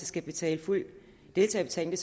skal betale fuld deltagerbetaling